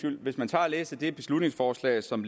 hvis man tager og læser det beslutningsforslag som